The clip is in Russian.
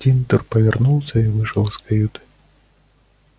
тинтер повернулся и вышел из каюты